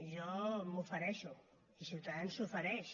jo m’hi ofereixo i ciutadans s’hi ofereix